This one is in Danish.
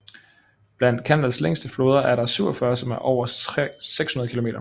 Blandt Canadas længste floder er der 47 som er over 600 km lange